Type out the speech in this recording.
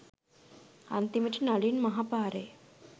අන්තිමට නලින් මහා පාරේ